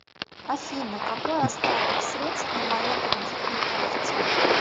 афина какой остаток средств на моей кредитной карте